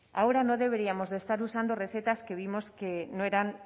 ahora no deberíamos de estar usando recetas que vimos que no eran